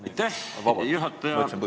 Aitäh, juhataja!